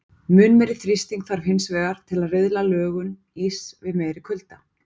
Mun meiri þrýsting þarf hins vegar til að riðla lögun íss við meiri kulda.